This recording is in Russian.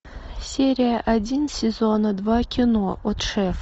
серия один сезона два кино от шефа